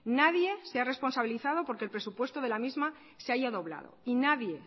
nadie se ha responsabilizado porque el presupuesto de la misma se haya doblado y nadie